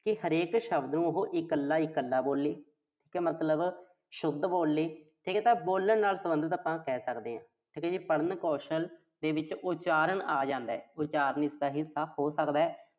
ਕਿ ਹਰੇਕ ਸ਼ਬਦ ਨੂੰ ਉਹੋ ਇਕੱਲਾ-ਇਕੱਲਾ ਬੋਲੇ। ਤੇ ਮਤਲਬ ਸ਼ੁੱਧ ਬੋਲੇ। ਠੀਕ ਆ ਤਾਂ ਬੋਲਣ ਨਾਲ ਸਬੰਧਤ ਆਪਾਂ ਕਹਿ ਸਕਦੇ ਆਂ। ਠੀਕ ਆ ਜੀ। ਪੜ੍ਹਨ ਕੌਸ਼ਲ ਦੇ ਵਿੱਚ ਉਚਾਰਨ ਆ ਜਾਂਦਾ। ਉਚਾਰਨ ਇਸਦਾ ਹੱਸਾ ਹੋ ਸਕਦਾ।